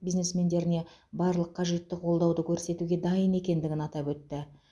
бизнесмендеріне барлық қажетті қолдауды көрсетуге дайын екендігін атап өтті